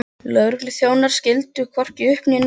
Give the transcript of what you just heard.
Lögregluþjónarnir skildu hvorki upp né niður.